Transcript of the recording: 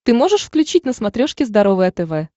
ты можешь включить на смотрешке здоровое тв